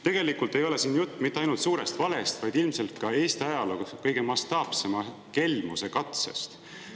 Tegelikult ei ole siin jutt mitte ainult suurest valest, vaid ilmselt ka Eesti ajaloo kõige mastaapsema kelmuse katsest.